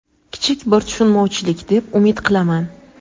kichik bir tushunmovchilik deb umid qilaman.